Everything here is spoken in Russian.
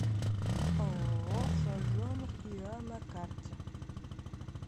ооо сазонов иа на карте